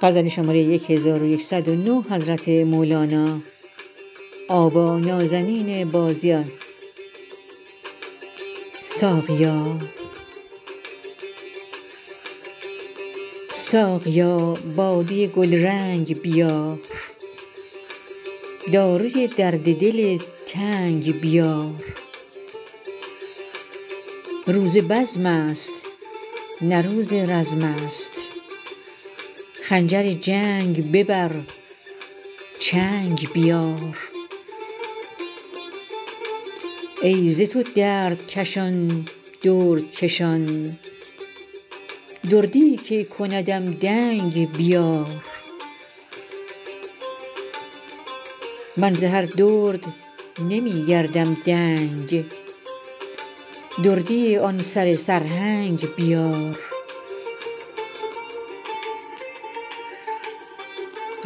ساقیا باده گلرنگ بیار داروی درد دل تنگ بیار روز بزمست نه روز رزمست خنجر جنگ ببر چنگ بیار ای ز تو دردکشان دردکشان دردیی که کندم دنگ بیار من ز هر درد نمی گردم دنگ دردی آن سره سرهنگ بیار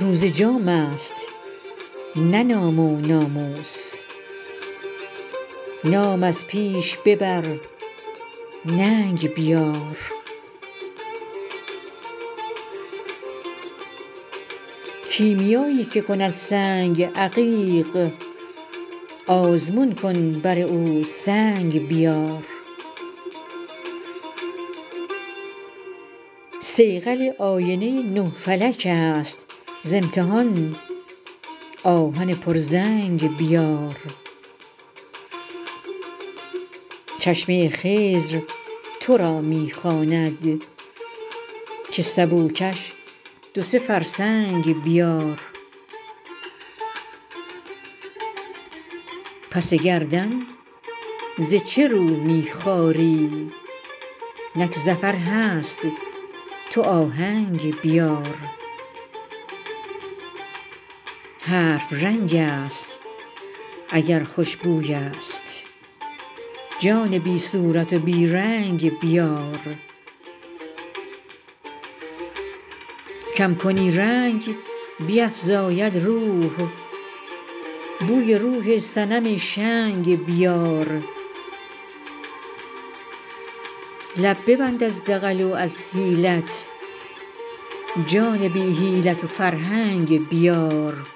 روز جامست نه نام و ناموس نام از پیش ببر ننگ بیار کیمیایی که کند سنگ عقیق آزمون کن بر او سنگ بیار صیقل آینه نه فلکست ز امتحان آهن پرزنگ بیار چشمه خضر تو را می خواند که سبو کش دو سه فرسنگ بیار پس گردن ز چه رو می خاری نک ظفر هست تو آهنگ بیار حرف رنگست اگر خوش بویست جان بی صورت و بی رنگ بیار کم کنی رنگ بیفزاید روح بوی روح صنم شنگ بیار لب ببند از دغل و از حیلت جان بی حیلت و فرهنگ بیار